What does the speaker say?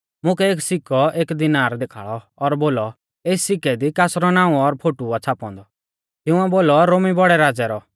मुकै एक सिक्कौ एक दिनार देखाल़ौ और बोलौ एस सिक्के दी कासरौ नाऊं और फोटु आ छ़ापौ औन्दौ तिंउऐ बोलौ रोमी बौड़ै राज़ै रौ